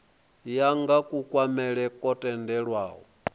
ya nga kunwalele kwo tendelwaho